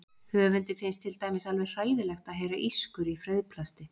Höfundi finnst til dæmis alveg hræðilegt að heyra ískur í frauðplasti.